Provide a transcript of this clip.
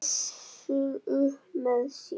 Össur upp með sér.